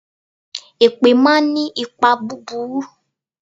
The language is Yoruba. Èpè máa ń ní ipa búburú.